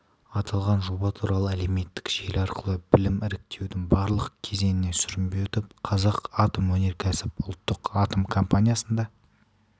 аталған жоба туралы әлеуметтік желі арқылы білдім іріктеудің барлық кезеңінен сүрінбей өтіп қазатомөнеркәсіп ұлттық атом компаниясында